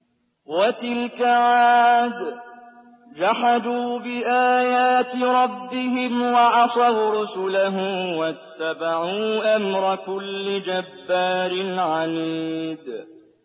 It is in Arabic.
وَتِلْكَ عَادٌ ۖ جَحَدُوا بِآيَاتِ رَبِّهِمْ وَعَصَوْا رُسُلَهُ وَاتَّبَعُوا أَمْرَ كُلِّ جَبَّارٍ عَنِيدٍ